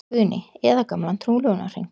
Guðný: Eða gamlan trúlofunarhring?